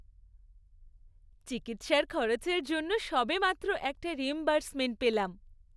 চিকিৎসার খরচের জন্য সবেমাত্র একটা রিইম্বার্সমেন্ট পেলাম।